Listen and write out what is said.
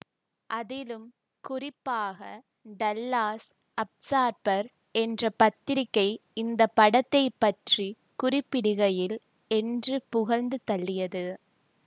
அதிலும் குறிப்பாக Dallas Observer என்ற பத்திரிக்கை இந்த படத்தை பற்றி குறிப்பிடுகையில் என்று புகழ்ந்து தள்ளியது